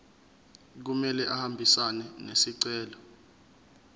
kumele ahambisane nesicelo